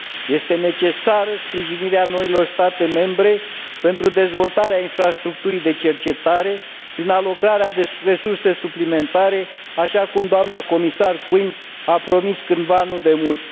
Este necesară sprijinirea noilor state membre pentru dezvoltarea infrastructurii de cercetare, prin alocarea de resurse suplimentare, așa cum doamna comisar Quinn a promis cândva, nu demult.